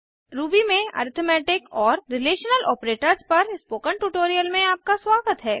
Ruby में arithmetic और relational operators पर स्पोकन ट्यूटोरियल में आपका स्वागत है